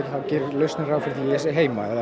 gerir lausnin ráð fyrir því að ég sé heima eða